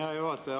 Hea juhataja!